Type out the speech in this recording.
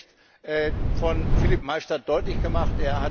Das hat der Bericht von Philippe Maystadt deutlich gemacht.